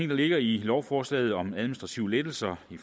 der ligger i lovforslaget om administrative lettelser